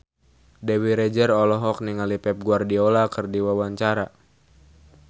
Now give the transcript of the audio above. Dewi Rezer olohok ningali Pep Guardiola keur diwawancara